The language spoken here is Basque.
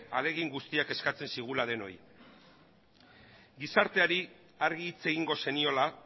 ahalegin guztiak eskatzen zigula denoi gizarteari argi hitz egingo zeniola